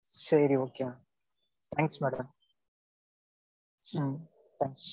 சேரி okay mam thanks madam ம் Thanks